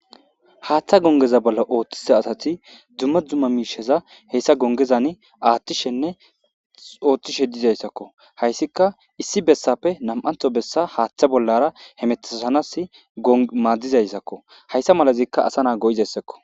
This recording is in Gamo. haaththa gongeza bolla ooththisa asati dumma dumma miisheza heyssa gongezan aathtishenne ooththishe diizayssakko hayssika issi bessappe nam'antho bessa haaththa bollara he metisanas maaddizayssakko hayssa malazikka asa naa go'izayssakko